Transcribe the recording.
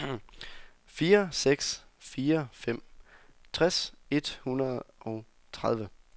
fire seks fire fem tres et hundrede og tredive